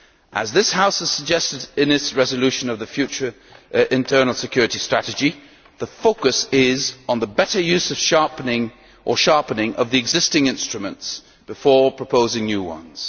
As this House has suggested in its resolution on the future internal security strategy, the focus is on the better use or sharpening of the existing instruments before proposing new ones.